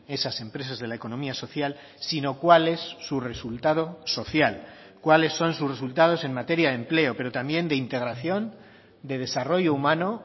esas empresas de la economía social sino cuál es su resultado social cuáles son sus resultados en materia de empleo pero también de integración de desarrollo humano